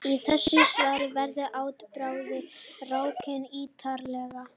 Í þessu svari verður atburðarásin rakin ítarlega.